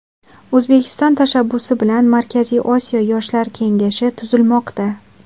O‘zbekiston tashabbusi bilan Markaziy Osiyo yoshlar kengashi tuzilmoqda.